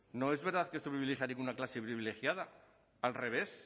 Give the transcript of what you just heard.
no es verdad que esto privilegie a ninguna clase privilegiada al revés